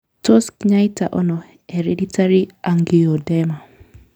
Tos kinyaita ono hereditary angioedema?